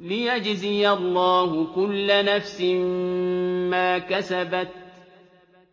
لِيَجْزِيَ اللَّهُ كُلَّ نَفْسٍ مَّا كَسَبَتْ ۚ